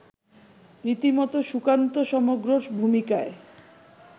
রীতিমতো সুকান্ত সমগ্রর ভূমিকায়